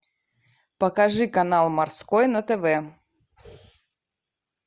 покажи канал морской на тв